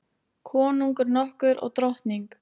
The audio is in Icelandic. Konungur nokkur og drottning.